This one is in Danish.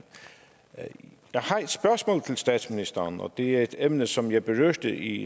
jeg har et spørgsmål til statsministeren og det vedrører et emne som jeg berørte i